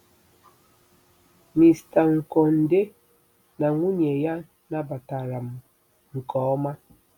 Mr. Nkonde na nwunye ya nabatara m nke ọma.